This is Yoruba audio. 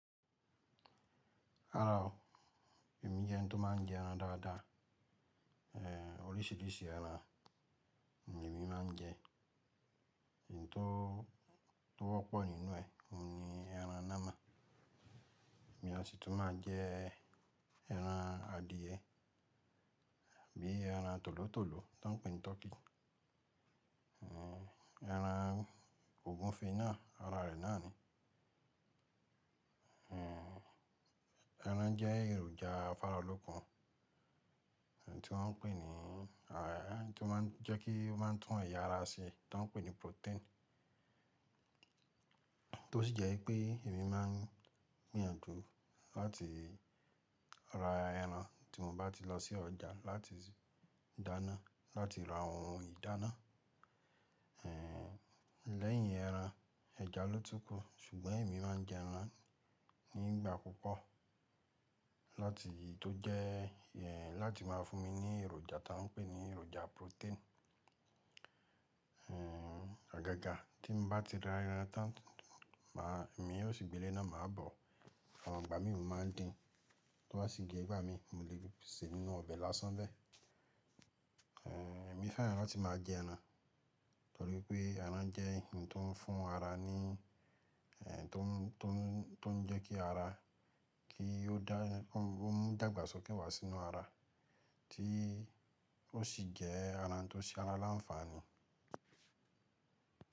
Rárá o, èmi jẹ́ ẹni tó má n jẹ ẹran dáadáa. Eh, orísìírísìí ẹran ni èmi má n jẹ. Ohun tó, tó wọ́pọ̀ nínú ẹ oun ni ẹran namon. Èmi a sì tún má a jẹ ẹran adìyẹ, bí i ẹran tòlótòló tan pè ní tọkí. Eh, ẹran ògúnfe náà, ara rẹ̀ náà ni. Eh, ẹran jẹ́ èròjà afáralókun, ohun tí wọ́n ń pè ní, àrá, ohun tó má n jẹ́ kí ó má n tún ẹ̀yà ara ṣe tó n pè ní protein. Tó sì jẹ́ wipé èmi má n gbìyànjú láti ra ẹran tí mo bá ti lọ sí ọjà láti dáná, láti ra àwọn ohun ìdáná. Eh, lẹ́yìn ẹran, ẹja ló tún kù, ṣùgbọ́n èmi má n jẹ ẹran nígbà púpọ̀ láti tó jẹ́, eh, láti má a fún mi ní èròjà tan pè ní èròjà protein. Eh, agágà tí mo bá ti ra ẹran tán, mà, èmi yóò sì gbe lena máa bọ̀. Àwọn igbà mí mo máa dín, tó sì jẹ́ ìgbà mi mo lè se nínú ọbẹ̀ lásán bẹ́ẹ̀. Eh, èmi fẹ́ràn láti máa jẹ ẹran, torí pé ẹran jẹ́ ohun tó n fún ara ní, eh, tó n, tó n, tó n jẹ́ kí ara, kí ó dá, ó mu dàgbàsókè wá sínú ara tí ó sì jẹ́ ẹran tó ṣe ara láǹfààní.